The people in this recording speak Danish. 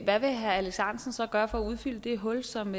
hvad vil herre alex ahrendtsen så gøre for at udfylde det hul som